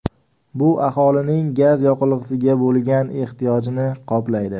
Bu aholining gaz yoqilg‘isiga bo‘lgan ehtiyojini qoplaydi.